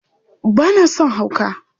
Ba na son hauka!